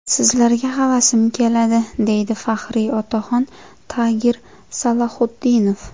Sizlarga havasim keladi”, – deydi faxriy otaxon Tagir Salaxutdinov.